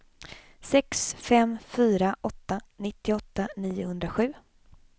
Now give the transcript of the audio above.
sex fem fyra åtta nittioåtta niohundrasju